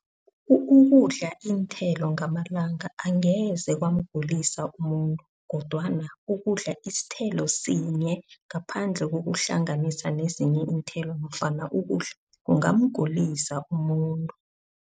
Ukudla iinthelo ngamalanga angeze kwamgulisa umuntu. Kodwana ukudla isithelo sinye ngaphandle kokuhlanganisa nezinye iinthelo nofana ukudla kungamgulisa umuntu.